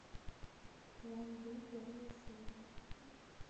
план б первая серия